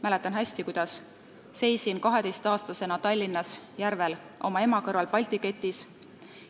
Mäletan hästi, kuidas seisin 12-aastasena Tallinnas Järvel oma ema kõrval Balti ketis.